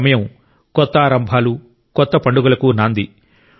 ఈ సమయం కొత్త ఆరంభాలు కొత్త పండుగలకు నాంది